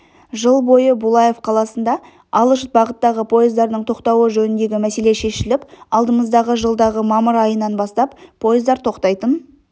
жыл бойы булаев қаласында алыс бағыттағы поездардың тоқтауы жөніндегі мәселе шешіліп алдымыздағы жылдағы мамыр айынан бастап поездар тоқтайтын